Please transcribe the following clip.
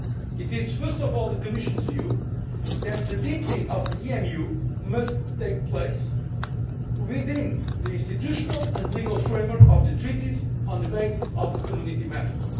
It is first of all the Commission's view that the deepening of the EMU must take place within the institutional and legal framework of the Treaties and on the basis of the Community method.